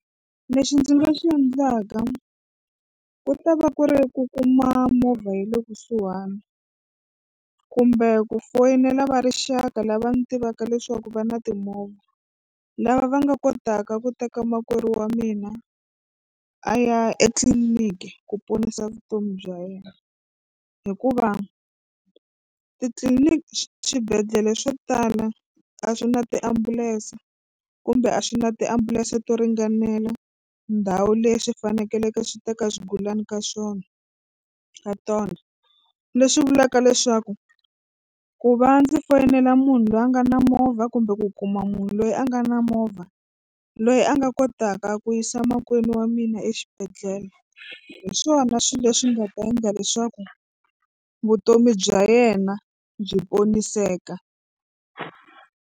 Lexi ndzi nga swi endlaka ku ta va ku ri ku kuma movha ya le kusuhani kumbe ku foyinela va rixaka lava ni tivaka leswaku ku va na timovha lava va nga kotaka ku teka makwerhu wa mina a ya etliliniki ku ponisa vutomi bya yena hikuva titliliniki swibedhlele swo tala a swi na tiambulense kumbe a swi na tiambulense to ringanela ndhawu leswi fanekeleke swi teka swigulani ka swona ka tona. Leswi vulaka leswaku ku va ndzi foyinela munhu loyi a nga na movha kumbe ku kuma munhu loyi a nga na movha loyi a nga kotaka ku yisa makwenu wa mina exibedhlele hi swona swilo leswi nga ta endla leswaku vutomi bya yena byi poniseka.